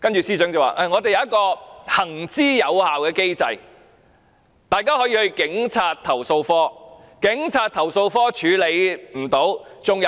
司長會說我們有一個行之有效的機制，市民可以向投訴警察課投訴。